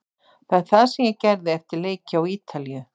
Það er það sem ég gerði eftir leiki á Ítalíu.